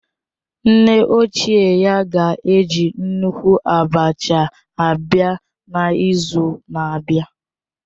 Nne ochie ya ga-eji nnukwu abacha abịa n'izu na-abịa